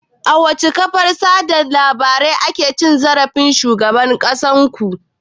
A wace kafar watsa labarai aka ci zarafin shugaban ƙasar ku?